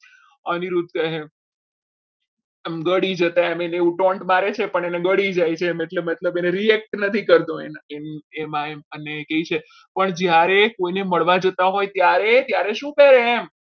અનિરુદ્ધ કહે એમ ઘડી જતા એને એવું ટોન્ટ મારે છે પણ એને ગળી જાય છે અને react નથી કરતો એમ એમ અને કહે છે પણ જ્યારે કોઈને મળવા જતા હોય ત્યારે ત્યારે શું કહે એમ?